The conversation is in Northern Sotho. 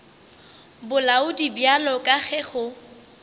bolaodi bjalo ka ge go